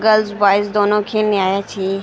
Girls boys दोनों खिन अयां छी।